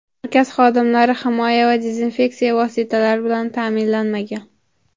Markaz xodimlari himoya va dezinfeksiya vositalari bilan ta’minlanmagan.